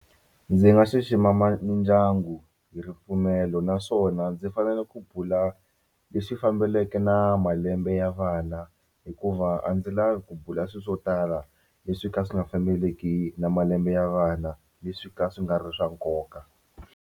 Ndzi nga xixima mindyangu hi ripfumelo naswona ndzi fanele ku bula lexi fambeleke na malembe ya vana hikuva a ndzi lavi ku bula swilo swo tala leswi ka swi nga fambeleki na malembe ya vana leswi ka swi nga ri swa nkoka.